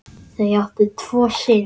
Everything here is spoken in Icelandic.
Þau áttu tvo syni.